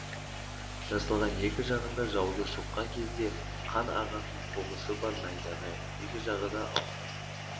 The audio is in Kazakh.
жасалған екі жағында жауды соққан кезде қан ағатын қобысы бар найзаны екі жағы да алмас